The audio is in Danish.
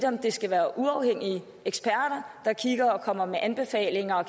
om det skal være uafhængige eksperter der kigger og kommer med anbefalinger og